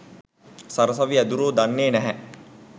සරසවි ඇදුරො දන්නෙ නැහැ.